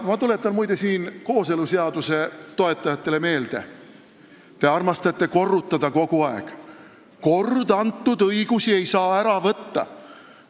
Ma tuletan, muide, kooseluseaduse toetajatele meelde, et te armastate kogu aeg korrutada: kord antud õigusi ei saa ära võtta.